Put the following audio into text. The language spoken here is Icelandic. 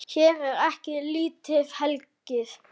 Hér er ekki lítið hlegið.